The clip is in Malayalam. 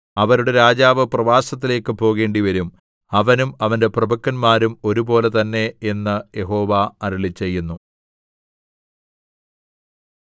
അവരുടെ രാജാവ് പ്രവാസത്തിലേക്ക് പോകേണ്ടിവരും അവനും അവന്റെ പ്രഭുക്കന്മാരും ഒരുപോലെ തന്നെ എന്ന് യഹോവ അരുളിച്ചെയ്യുന്നു